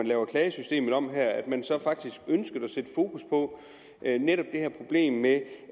lave klagesystemet om at sætte fokus på netop det her problem med